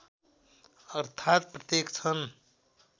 अर्थात् प्रत्येक क्षण